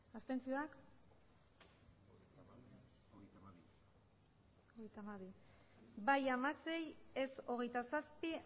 abstenzioak emandako botoak hirurogeita hamabost bai hamasei ez hogeita zazpi